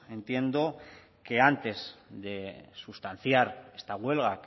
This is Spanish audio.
entiendo antes de sustanciar esta huelga